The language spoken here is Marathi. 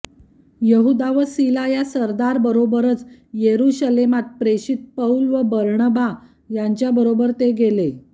यहूदा व सीला या सरदारबरोबरच यरुशलेमात प्रेषित पौल व बर्णबा यांच्याबरोबर ते गेले